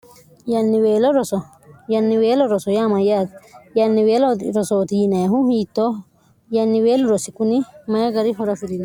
yanniweelo roso yaamayyaati yanniweelo rosooti yineehu hiittooh yanniweellu rossi kuni mayi gari ho'rafi'rino